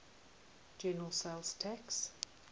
general sales tax